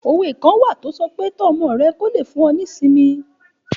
Òwe kan wà tó sọ pé Tọ́ ọmọ rẹ kí ó lè fún ọ ní ìsinmi